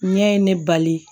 Ɲɛ ye ne bali